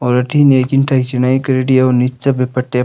और अथीन ये ईटा छिनाइ करेड़ी है और निचे पट्टीया --